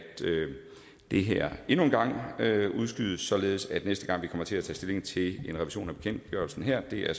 det her endnu en gang udskydes således at næste gang vi kommer til at tage stilling til en revision af bekendtgørelsen her er